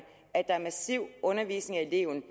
at der er massiv undervisning af eleverne